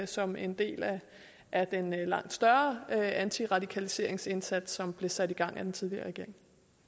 som en del af den langt større antiradikaliseringsindsats som blev sat i gang af den tidligere regering